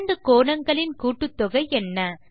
இரண்டு கோணங்களின் கூட்டுத்தொகை என்ன